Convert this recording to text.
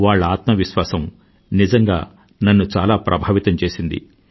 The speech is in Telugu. వాళ్ల ఆత్మవిశ్వాసం నిజంగా నన్ను చాలా ప్రభావితం చేసింది